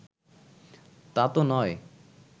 তা তো নয়